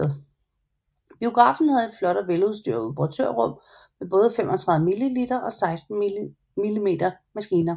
Biografen havde et flot og veludstyret operatørrum med både 35mm og 16mm maskiner